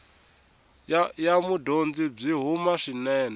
ya mudyondzi byi huma swinene